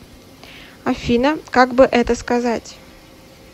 афина как бы это сказать